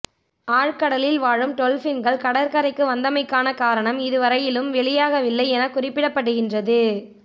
ஆழ் கடலில் வாழும் டொல்பின்கள் கடற்கரைக்கு வந்தமைக்கான காரணம் இதுவரையிலும் வெளியாகவில்லை என குறிப்பிடப்படுகின்றது